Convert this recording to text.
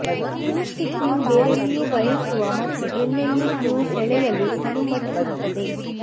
thin stick ನೀವು ಬೇರೆಲ್ಲಿಯೂ ಬಯಸುವ ಮತ್ತು ಎಲ್ಲೆಲ್ಲಿ ನೀವು ಸೆಳೆಯಲು ಅನುಮತಿಸುತ್ತದೆ